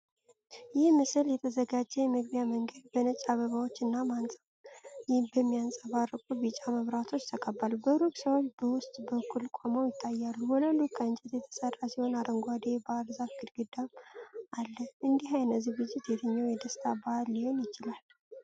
ይህ ምስል የተዘጋጀ የመግቢያ መንገዱ በነጭ አበባዎች እና በሚያንጸባርቁ ቢጫ መብራቶች ተከቧል። በሩቅ ሰዎች በውስጥ በኩል ቆመው ይታያሉ። ወለሉ ከእንጨት የተሠራ ሲሆን አረንጓዴ የባህር ዛፍ ግድግዳም አለ። እንዲህ አይነት ዝግጅት የትኛው የደስታ በዓል ሊሆን ይችላል?